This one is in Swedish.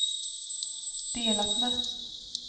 delat med